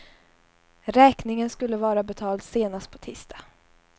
Räkningen skulle vara betald senast på tisdag.